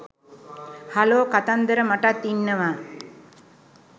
hello කතන්දර මටත් ඉන්නවා